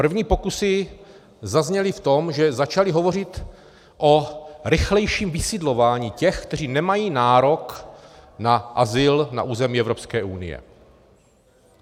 První pokusy zazněly v tom, že začaly hovořit o rychlejším vysidlování těch, kteří nemají nárok na azyl na území Evropské unie.